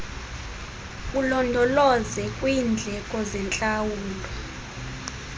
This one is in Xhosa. ulondoloze kwiindleko zentlawulo